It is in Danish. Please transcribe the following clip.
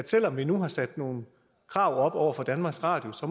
selv om vi nu har sat nogle krav op over for danmarks radio så